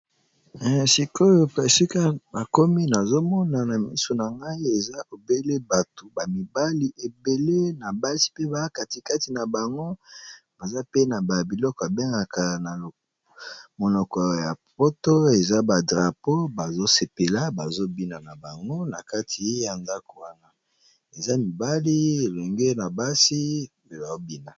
Esika nakomi nazomona na miso nangai bato ,ba mibali ebele na basi ba katikati nabango baza na biloko babengaka na monoko ya lopoto drapeau baso sepela bazo bina nabango.